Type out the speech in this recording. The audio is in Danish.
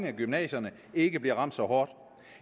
af gymnasierne ikke bliver ramt så hårdt